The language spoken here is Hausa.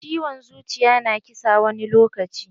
Ciwon zuciya na ƙisa wani lokaci.